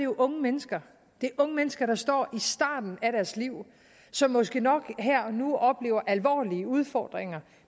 unge mennesker det er unge mennesker der står i starten af deres liv og som måske nok her og nu oplever alvorlige udfordringer